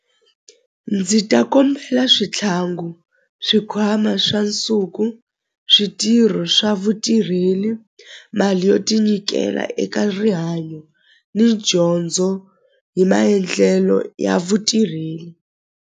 Ndzi ta kombela swithlangu swikhwama swa nsuku switirho swa vutirheli mali yo tinyikela eka rihanyo ni dyondzo hi maendlelo ya vutirheli.